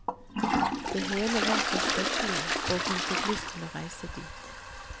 Det hele var så stofflig, og hun fikk lyst til å reise dit.